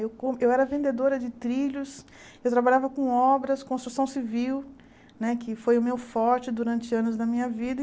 Eu co eu era vendedora de trilhos, eu trabalhava com obras, construção civil né, que foi o meu forte durante anos da minha vida.